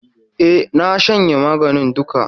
E, na shanye maganin duka.